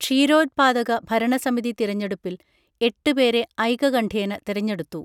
ക്ഷീരോത്പാദക ഭരണസമിതി തിരഞ്ഞെടുപ്പിൽ എട്ടുപേരെ ഐകകണ്ഠ്യേന തിരഞ്ഞെടുത്തു